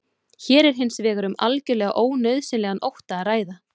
hér er hins vegar um algjörlega ónauðsynlegan ótta að ræða